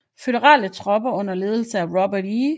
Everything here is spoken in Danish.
Føderale tropper under ledelse af Robert E